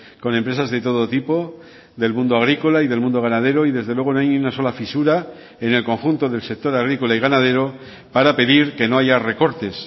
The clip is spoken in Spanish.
con empresas de todo tipo del mundo agrícola y del mundo ganadero y desde luego no hay ni una sola fisura en el conjunto del sector agrícola y ganadero para pedir que no haya recortes